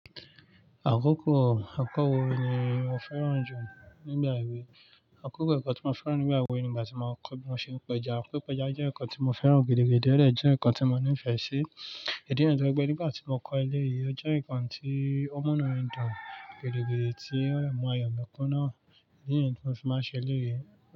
Àkókò akọ́wé ni mo fẹ́ràn jù nígbà èwe. Àkókò ẹ̀kọ́ tí mo fẹ́ràn nígbà èwe ni ìgbà tí mo ń kọ́ bí mo ṣe ń péja. Pípéja jẹ́ ǹkan tí mo fẹ́ràn gidi gidi ó dẹ̀ jẹ́ ǹkan tí mo nífẹ̀ẹ́ sí. Ìdí nìyẹn tó jẹ́ pé nígbà tí mo kọ́ eléyìí, ó jẹ́ ǹkan tí ó múnú mi dùn gidi-gidi tí ó dẹ̀ mú ayọ̀ mi kúnna. Ìdí nìyẹn tí mo fi máa ṣe eléyìí.